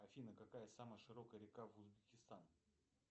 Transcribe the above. афина какая самая широкая река в узбекистан